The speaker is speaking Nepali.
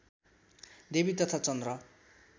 देवी तथा चन्द्र